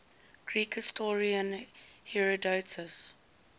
greek historian herodotus